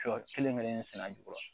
Sɔ kelen kelen sɛnɛ jukɔrɔ